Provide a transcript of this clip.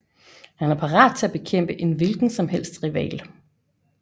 Han er parat til at bekæmpe en hvilken som helst rival